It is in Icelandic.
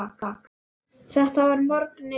Þetta var að morgni dags.